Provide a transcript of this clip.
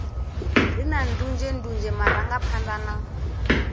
re na ndunzhendunzhe marangaphanḓa na